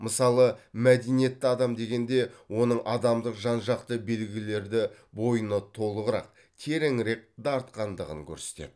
мысалы мәдениетті адам дегенде оның адамдық жан жақты белгілерді бойына толығырақ тереңірек дарытқандығын көрсетеді